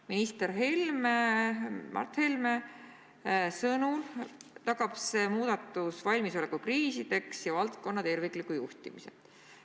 Minister Mart Helme sõnul tagab see muudatus valmisoleku kriisideks ja valdkonna tervikliku juhtimise.